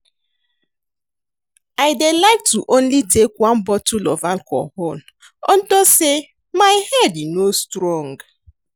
I dey like to only take one bottle of alcohol unto say my head no strong